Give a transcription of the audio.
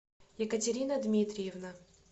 екатерина дмитриевна